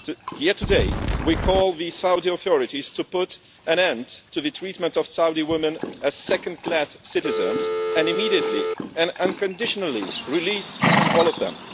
Here, today, we call on the Saudi authorities to put an end to the treatment of Saudi women as second class citizens and immediately and unconditionally release all of them.